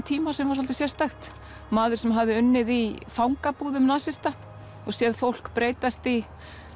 tíma sem var svolítið sérstakt maður sem hafði unnið í fangabúðum nasista og séð fólk breytast í